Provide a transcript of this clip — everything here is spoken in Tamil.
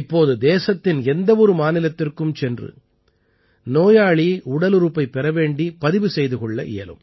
இப்போது தேசத்தின் எந்த ஒரு மாநிலத்திற்கும் சென்று நோயாளி உடலுறுப்பைப் பெற வேண்டிப் பதிவு செய்து கொள்ள இயலும்